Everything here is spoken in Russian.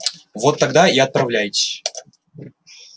вот тогда и отправляйтесь